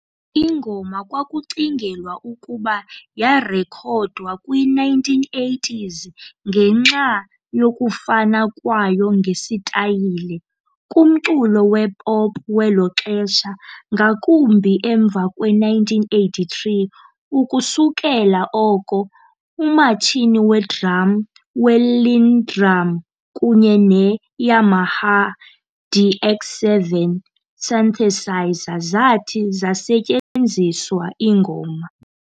Ingoma kwakucingelwa ukuba yarekhodwa kwi-1980s ngenxa 'yokufana kwayo ngesitayile' kumculo wepop welo xesha, ngakumbi emva kwe1983, ukusukela oko umatshini wedrum weLinnDrum kunye ne-Yamaha DX7 synthesizer zathi zasetyenziswa ingoma.